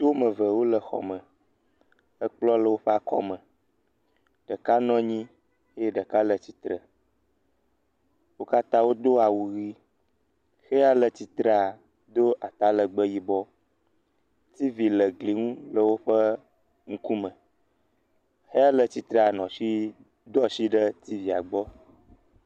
Ŋutsu woame ve wole xɔ me, ekplɔ le woƒe akɔme, ɖeka nɔ anyi eye ɖeka le sitre. Wo katã wodo awu ʋɛ̃, xeya le tsitrea do atalegbe yibɔ, tivi le gli ŋu le woƒe ŋkume. Xeya le tsitrea, nɔ asi, do asi ɖe tivia gbɔ.